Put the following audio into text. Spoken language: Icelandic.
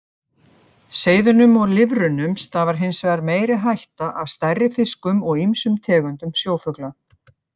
Seiðunum og lirfunum stafar hins vegar meiri hætta af stærri fiskum og ýmsum tegundum sjófugla.